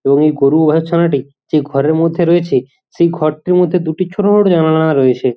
এবংএই গরু ছানাটি যেই ঘরের মধ্যে রয়েছে সেই ঘরটির মধ্যে দুটি ছোট ছোট জানালা রয়েছে।